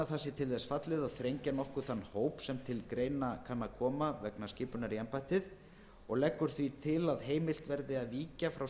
sé til þess fallið að þrengja nokkuð þann hóp sem til greina kemur og leggur því til að heimilt verði að víkja frá